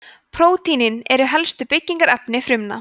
prótínin eru helstu byggingarefni frumna